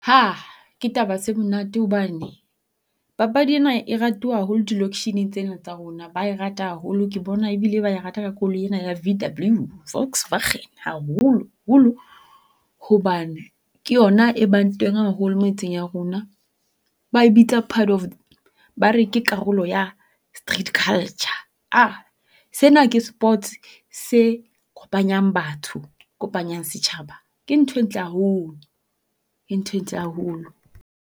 Hah ke taba tse monate hobane, papadi ena e ratuwa haholo di lokshineng tsena tsa rona, ba e rata haholo ke bona ebile ba e rata ka koloi ena ya VW Volkswagen. Haholo-holo hobane ke yona e bang teng haholo metseng ya rona. Ba e bitsa part of ba re ke karolo ya street culture ah, sena ke sports se kopanyang batho kopanyang setjhaba. Ke ntho e ntle haholo ke ntho e ntle haholo.